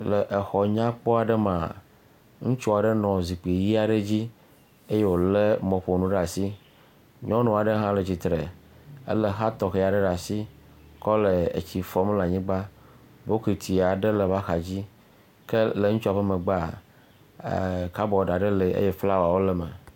Le exɔ nyakɔ ɖe mea. Ŋutsua ɖe nɔ zikpui ʋi aɖe dzi eye wole mɔƒonu ɖe asi. Nyɔnu aɖe hã le tsitre ele xa tɔxe aɖe ɖe asi kɔ le etsi fɔm le anyigba. Bɔkiti aɖe le eƒe axa dzi. Ke le ŋutsu ƒe megbea eee kabɔdi aɖe le eye flawɔwo le me.